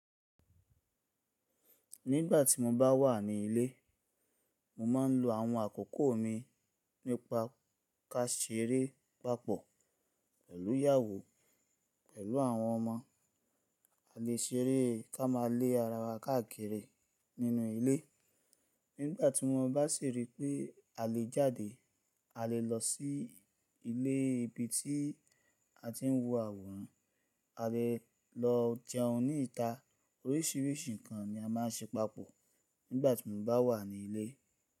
Nígbà tí mo bá wà ní ilé, mo máa ń lo àwọn àkoko mi nípa ká ṣeré papọ̀ pẹ̀lú ìyàwó pẹ̀lú àwọn ọmọ, a lè ṣeré ká máa le ara wa káàkiri nínú ilé. Nígbà tí mo bá sì rí pé a lè jáde, a lè lọ sí ilé ibi tí a ti ń wo àwòrán, a lè lọ jẹun ní ìta, oríṣìíríṣìí nǹkan ni a máà ń ṣe papọ̀ nígbà tí mo bá wà ní ilé.